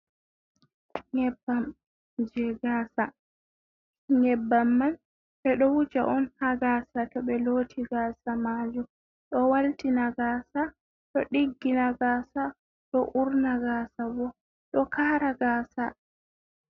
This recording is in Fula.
Nyebbamje gasa, nyebbam man be do wuja on ha gasa to be lotti gasa majum do walti na gasa do diggi na gasa do urna gasa bo do kara gasa.